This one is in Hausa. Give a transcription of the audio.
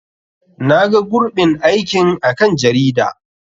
Na ga gurɓin aikin a kan jarida.